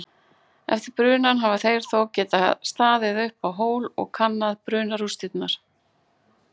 Eftir brunann hafa þeir þó getað staðið uppá hól og kannað brunarústina.